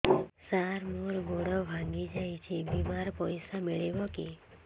ସାର ମର ଗୋଡ ଭଙ୍ଗି ଯାଇ ଛି ବିମାରେ ପଇସା ମିଳିବ କି